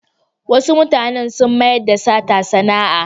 Wasu mutanen sun mayar da sata sana'a.